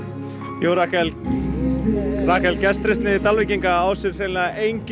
jú gestrisni Dalvíkinga á sér engin